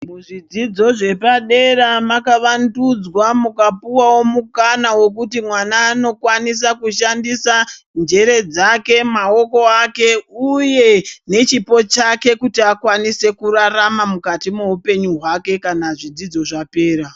Muzvidzidzo zvepadera maka vandudzwa mukapuwawo mukana wekuti vana vanokwanisa mushandisa njere dzake maoko ake uye nechipo chake kuti akwanise kuraramamukati me upenyu hwake kana zvidzidzo zvapera.